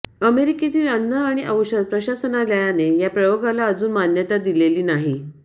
अमेरिकेतील अन्न आणि औषध प्रशासनालयाने या प्रयोगाला अजून मान्यता दिलेली नाही